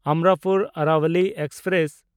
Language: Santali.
ᱚᱢᱨᱟᱯᱩᱨ ᱟᱨᱟᱵᱚᱞᱤ ᱮᱠᱥᱯᱨᱮᱥ